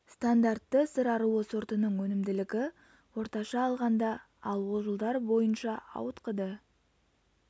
стандартты сыр аруы сортының өнімділігі орташа алғанда ал ол жылдар бойынша ауытқыды